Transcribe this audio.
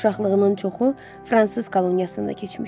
Uşaqlığının çoxu fransız koloniyasında keçmişdi.